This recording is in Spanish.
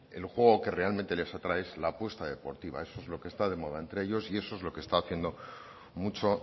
el juego que realmente les atrae es al apuesto deportiva eso es lo que está de moda entre ellos y eso es lo que está haciendo mucho